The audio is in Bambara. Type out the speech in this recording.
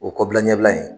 O kɔbila ɲɛbila in